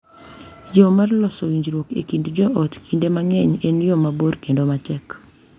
Yo mar loso winjruok e kind joot kinde mang’eny en yo mabor kendo matek.